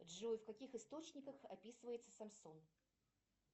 джой в каких источниках описывается самсон